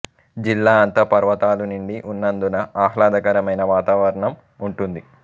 జిల్లా అంతా పర్వతాలు నిండి ఉన్నందున అహ్లాదకరమైన వాతావరణం ఉంటుంది